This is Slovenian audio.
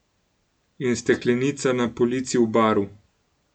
In steklenica na polici v baru.